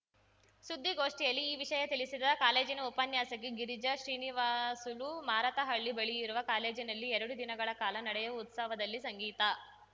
ಸುದ್ದಿಗೋಷ್ಠಿಯಲ್ಲಿ ಈ ವಿಷಯ ತಿಳಿಸಿದ ಕಾಲೇಜಿನ ಉಪನ್ಯಾಸಕಿ ಗಿರಿಜಾ ಶ್ರೀನಿವಾಸುಲು ಮಾರತಹಳ್ಳಿ ಬಳಿಯಿರುವ ಕಾಲೇಜಿನಲ್ಲಿ ಎರಡು ದಿನಗಳ ಕಾಲ ನಡೆಯುವ ಉತ್ಸವದಲ್ಲಿ ಸಂಗೀತ